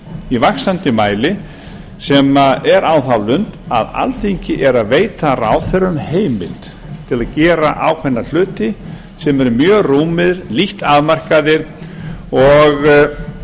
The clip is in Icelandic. í vaxandi mæli sem er á þá lund að alþingi er að veita ráðherrum heimild til að gera ákveðna hluti sem eru mjög rúmir lítt afmarkaðir þannig